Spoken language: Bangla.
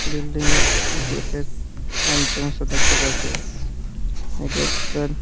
বিল্ডিং এর গেট -এর এন্ট্রান্স -ও দেখতে পাচ্ছি এই গেট -টার--